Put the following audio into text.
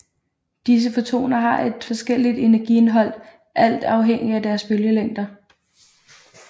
Disse fotoner har et forskelligt energiindhold alt afhængigt af deres bølgelængder